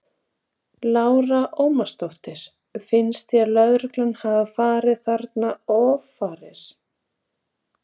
Lára Ómarsdóttir: Finnst þér lögreglan hafa farið þarna offari?